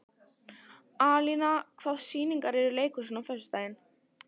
Alína, hvaða sýningar eru í leikhúsinu á föstudaginn?